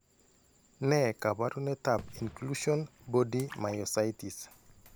Ne kaabarunetap Inclusion body myositis.